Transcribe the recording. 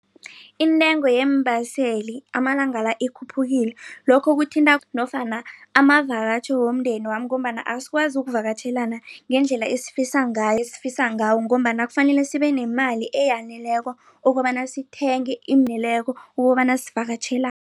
Intengo yeembaseli amalanga la ikhuphukile lokho kuthinta nofana amavakatjho womndenami ngombana azikwazi ukuvakatjhela ngendlela esifisa ngayo esifisa ngawo ngombana kufanele sibenemali eyaneleko okobana sithenge ukobana